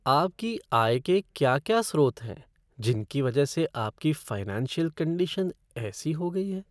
आपकी आय के क्या क्या स्रोत हैं जिनकी वजह से आपकी फ़ाइनेंशियल कंडीशन ऐसी हो गई है।